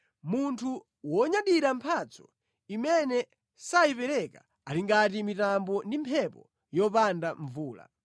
Munthu wonyadira mphatso imene sayipereka ali ngati mitambo ndi mphepo yopanda mvula.